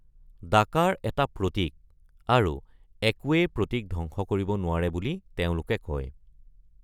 ডাকাৰ এটা প্ৰতীক, আৰু একোৱেই প্ৰতীক ধ্বংস কৰিব নোৱাৰে বুলি তেওঁলোকে কয়।